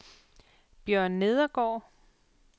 Bjørn Nedergaard